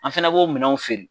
An fɛnɛ bo minɛnw feere